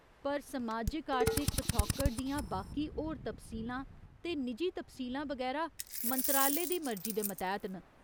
पर समाजिक आर्थिक पछौकड़ दियां बाकी होर तफसीलां ते निजी तफसीलां बगैरा मंत्रालय दी मर्जी दे मतैह्त न।